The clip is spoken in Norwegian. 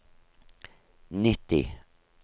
nitti